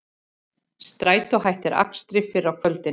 Strætó hættir akstri fyrr á kvöldin